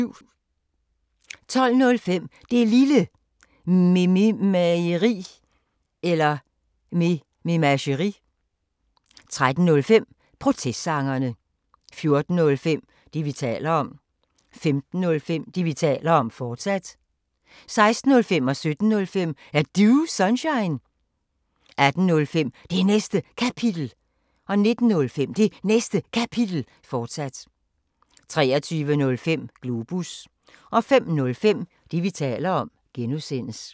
12:05: Det Lille Mememageri 13:05: Protestsangerne 14:05: Det, vi taler om 15:05: Det, vi taler om, fortsat 16:05: Er Du Sunshine? 17:05: Er Du Sunshine? 18:05: Det Næste Kapitel 19:05: Det Næste Kapitel, fortsat 23:05: Globus 05:05: Det, vi taler om (G)